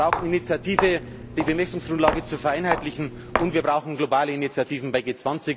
ist. Wir brauchen Initiative, die Bemessungsgrundlage zu vereinheitlichen, und wir brauchen globale Initiativen bei